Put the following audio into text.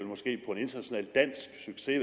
international dansk succes i